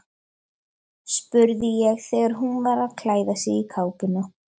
spurði ég þegar hún var að klæða sig í kápuna.